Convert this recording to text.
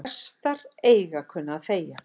Prestar eiga að kunna að þegja